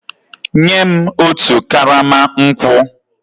Nye m otu karama nkwụ!